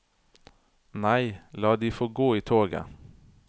Nei, la de få gå i toget.